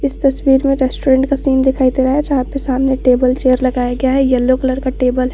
इस तस्वीर में रेस्टोरेंट का सीन दिखाई दे रहा है जहां पे सामने टेबल चेयर लगाया गया हैं येलो कलर का टेबल हैं।